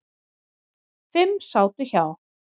Fimm sátu hjá.